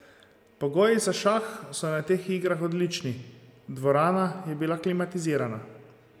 Pogoji za šah so na teh igrah odlični, dvorana je bila klimatizirana.